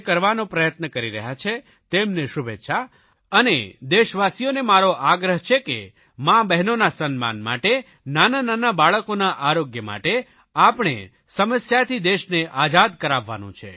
જે કરવાનો પ્રયત્ન કરી રહ્યા છે તેમને શુભેચ્છા અને દેશવાસીઓને મારો આગ્રહ છે કે માબહેનોના સન્માન માટે નાનાનાના બાળકોના આરોગ્ય માટે આપણે આ સમસ્યાથી દેશને આઝાદ કરાવવાનો છે